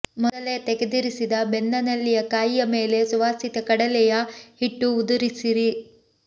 ಮೊದಲೇ ತೆಗೆದಿರಿಸಿದ ಬೆಂದ ನೆಲ್ಲಿಯ ಕಾಯಿಯ ಮೇಲೆ ಸುವಾಸಿತ ಕಡಲೆಯ ಹಿಟ್ಟು ಉದುರಿಸಿರಿ